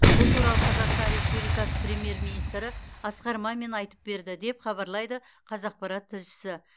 бұл туралы қазақстан республикасы премьер министрі асқар мамин айтып берді деп хабарлайды қазақпарат тілшісі